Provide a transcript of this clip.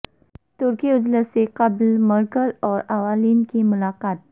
ترکی اجلاس سے قبل مرکل اور اولاند کی ملاقات